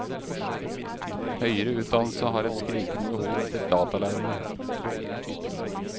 Høyere utdannelse har et skrikende behov etter datalærere.